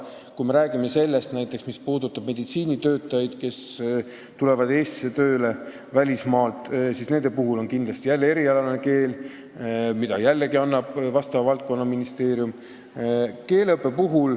Kui me räägime näiteks meditsiinitöötajatest, kes tulevad välismaalt Eestisse tööle, siis neile on kindlasti jälle vaja erialast keelt, mida annab vastava valdkonna ministeerium.